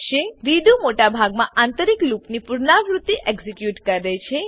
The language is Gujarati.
રેડો રીડૂ મોટા ભાગનાં આંતરિક લૂપની પુનરાવૃત્તિ એક્ઝીક્યુટ કરે છે